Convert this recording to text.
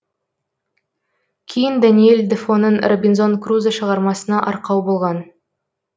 кейін даниэль дефоның робинзон крузо шығармасына арқау болған